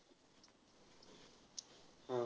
हा.